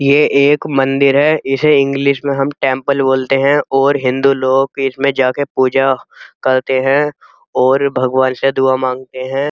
ये एक मंदिर है। इसे इंग्लिश में हम टेम्पल बोलते हैं और हिन्दू लोग इसमें जाके पूजा करते हैं ओर भगवान से दुआ मांगते है।